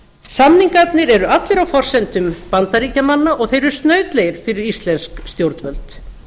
samningarnir eru allir á forsendum bandaríkjamanna og þeir eru snautlegir fyrir íslensk stjórnvöld